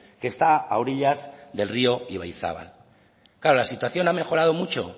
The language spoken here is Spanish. que está a orillas del rio ibaizabal claro la situación ha mejorado mucho